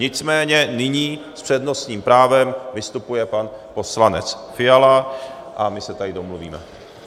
Nicméně nyní s přednostním právem vystupuje pan poslanec Fiala a my se tady domluvíme.